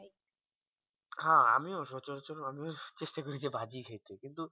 হ্যাঁ আমিও সচলাচল আমিও চেষ্টা করি যে ভাজি খেতে